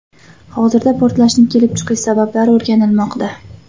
Hozirda portlashning kelib chiqish sabablari o‘rganilmoqda.